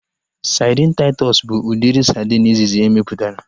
Sadin Taịtọs bụ udiri sadin izizi emeputara